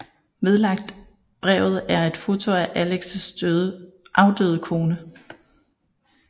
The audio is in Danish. Vedlagt brevet er et foto af Alexs afdøde kone